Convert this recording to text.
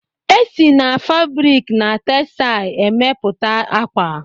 E si n'febrik na texsai èmeputa akwa